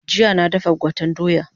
Jiya na dafa gwaten doya